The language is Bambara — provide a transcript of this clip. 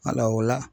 o la